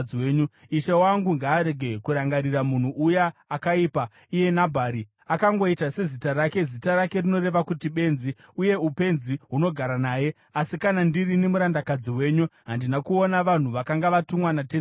Ishe wangu ngaarege kurangarira munhu uya akaipa, iye Nabhari. Akangoita sezita rake, zita rake rinoreva kuti Benzi, uye upenzi hunogara naye. Asi kana ndirini, murandakadzi wenyu, handina kuona vanhu vakanga vatumwa natenzi wangu.